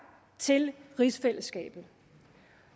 til rigsfællesskabet